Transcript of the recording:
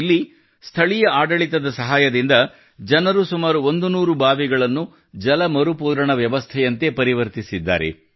ಇಲ್ಲಿ ಸ್ಥಳೀಯ ಆಡಳಿತದ ಸಹಾಯದಿಂದ ಜನರು ಸುಮಾರು 100 ಬಾವಿಗಳನ್ನು ಜಲ ಮರುಪೂರಣ ವ್ಯವಸ್ಥೆಯಂತೆ ಪರಿವರ್ತಿಸಿದ್ದಾರೆ